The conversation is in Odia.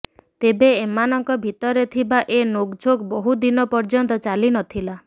ତେବେ ଏମାନଙ୍କ ଭିତରେ ଥିବା ଏ ନୋକ୍ଝୋକ୍ ବହୁ ଦିନ ପର୍ଯ୍ୟନ୍ତ ଚାଲିନଥିଲା